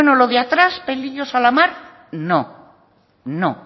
lo de atrás pelillos a la mar no